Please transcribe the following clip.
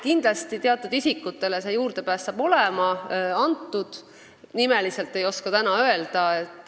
Kindlasti teatud isikutele see juurdepääsuõigus antakse, nimeliselt ei oska täna neid öelda.